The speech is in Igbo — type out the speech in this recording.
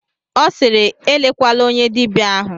Ọ sịịrị, elekwala onye dibịa ahụ!